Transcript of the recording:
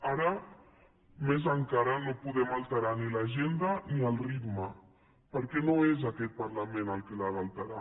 ara més encara no podem alterar ni l’agenda ni el ritme perquè no és aquest parlament el que els ha d’alterar